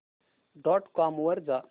dot com वर जा